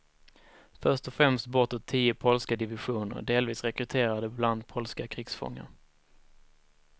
Först och främst bortåt tio polska divisioner, delvis rekryterade bland polska krigsfångar.